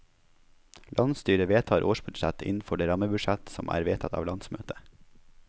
Landsstyret vedtar årsbudsjett innenfor det rammebudsjett som er vedtatt av landsmøtet.